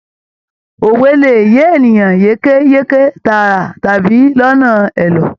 Òwe lè yé ènìyàn yékéyéké tààrà tàbí lọnà ẹ̀lọ́.